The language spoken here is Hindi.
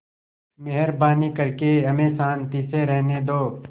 मेहरबानी करके हमें शान्ति से रहने दो